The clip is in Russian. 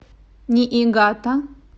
ниигата